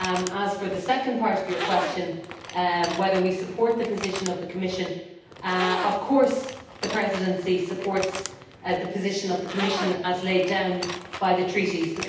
As for the second part of Mr Swoboda's question, regarding whether we support the position of the Commission, of course the Presidency supports the position of the Commission as laid down by the Treaties.